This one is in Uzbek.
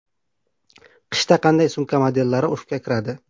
Qishda qanday sumka modellari urfga kiradi?